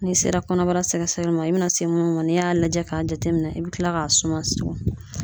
N'i sera kɔnɔbara sɛgɛsɛgɛli ma, i bɛna se mun ma n'i y'a lajɛ k'a jateminɛ, i bɛ kila k'a suma.